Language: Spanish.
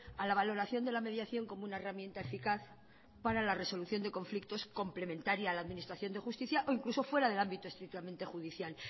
a la valoración de la mediación como una herramienta eficaz para la resolución de conflictos complementaria a la administración de justicia o incluso fuera del ámbito estrictamente judicial